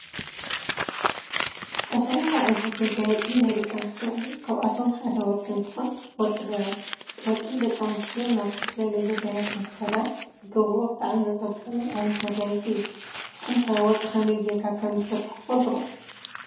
ዝተፈላለዩ ዓይነታት መጋየፂ ናይ ደቂ አንስትዮ አለው ካብአቶም ሓደ ወርቂ እንተኮን ወርቂ ደቂ አንስትዮ ናብ ዝተፈላለዩ ጉዳያት እንትከዳ ዝገብሮኦ ብጣዕሚ ዘፅብቀለን ዓይነት መጋየፂ እዩ። ንስኩም ከ ወርቂ ከመይ ገይርካ ከም ዝስራሕ ትፈልጡ ዶ?